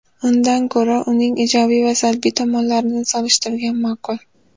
Undan ko‘ra, uning ijobiy va salbiy tomonlarini solishtirgan ma’qul.